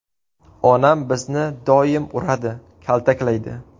Onam bizni doim uradi, kaltaklaydi.